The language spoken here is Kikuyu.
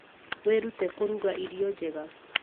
Wĩrute kũruga irio njega.